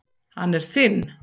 Hann er þinn.